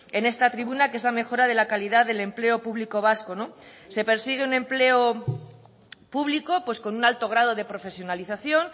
en esta tribuna que es la mejora de la calidad del empleo público vasco no se persigue un empleo público pues con un alto grado de profesionalización